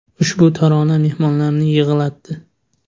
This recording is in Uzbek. Ushbu tarona mehmonlarni yig‘latdi.